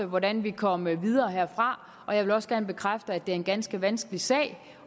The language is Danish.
hvordan vi kommer videre herfra og jeg vil også gerne bekræfte at det er en ganske vanskelig sag